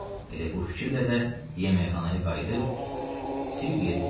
Elə bu fikirlə də yeməkxanaya qayıdıb Silviyə dedi: